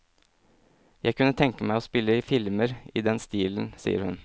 Jeg kunne tenke meg å spille i filmer i den stilen, sier hun.